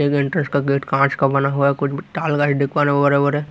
एक एंट्रेंस का गेट कांच का बना हुआ है कुछ ताल देख है।